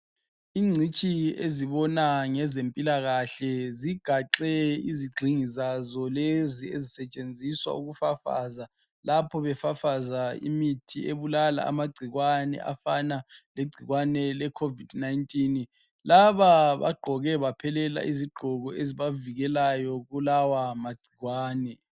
Ingcitshi ezibona ngezempilakahle zigaxe izigxingi zazo lezi ezisetshenziswa ukufafaza lapho befafaza imithi ebulala amagcikwane afana legcikwane le Covid 19 laba bagqoke baphelela izigqoko ezibavikelayo kulawa magcikwane.